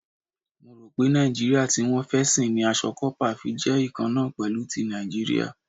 Mo rò pé Nàìjíríà tí wọ́n fẹ́ sìn ni aṣọ kópa fi jẹ́ ikanna pẹ̀lú ti Nàìjíríà.